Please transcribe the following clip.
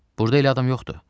Burda elə adam yoxdur.